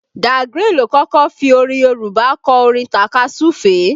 Da Grin ló kọ́kọ́ fi Yorùbá kọ orin takasufe